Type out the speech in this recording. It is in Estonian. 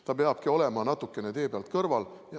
Ta peabki olema natukene tee pealt kõrval.